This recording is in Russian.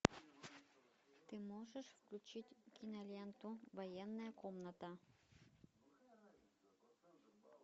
ты можешь включить киноленту военная комната